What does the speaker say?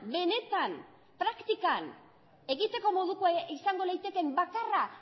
benetan praktikan egiteko modukoa izango litekeen bakarra